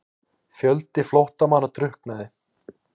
Fjöldi flóttamanna drukknaði